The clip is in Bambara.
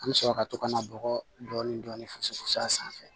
An bɛ sɔrɔ ka to ka na bɔgɔ dɔɔnin dɔɔnin fosi fu a sanfɛ